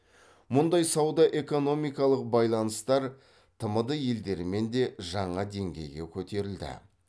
мұндай сауда экономикалық байланыстар тмд елдерімен де жаңа деңгейге көтерілді